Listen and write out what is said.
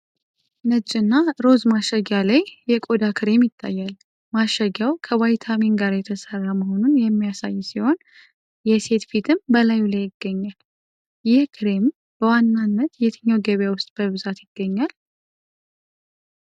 ነጭና ሮዝ ማሸጊያ ላይ Fair & Lovely የቆዳ ክሬም ይታያል። ማሸጊያው ከቫይታሚን ጋር የተሰራ መሆኑን የሚያሳይ ሲሆን፣ የሴት ፊትም በላዩ ላይ ይገኛል። ይህ ክሬም በዋናነት የትኛው ገበያ ውስጥ በብዛት ይገኛል?